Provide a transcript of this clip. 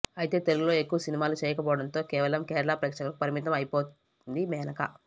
అయితే తెలుగులో ఎక్కువ సినిమాలు చేయకపోవడంతో కేవలం కేరళ ప్రేక్షకులకు పరిమితం అయిపోయింది మేనక